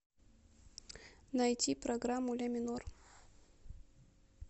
найти программу ля минор